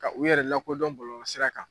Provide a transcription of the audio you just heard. Ka u yɛrɛ lakodɔn bɔlɔlɔsira kan.